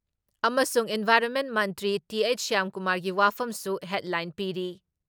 ꯑꯃꯁꯨꯡ ꯏꯟꯚꯥꯏꯔꯣꯟꯃꯦꯟ ꯃꯟꯇ꯭ꯔꯤ ꯇꯤ.ꯍꯩꯆ. ꯁ꯭ꯌꯥꯝꯀꯨꯃꯥꯔꯒꯤ ꯋꯥꯐꯝꯁꯨ ꯍꯦꯗꯂꯥꯏꯟ ꯄꯤꯔꯤ ꯫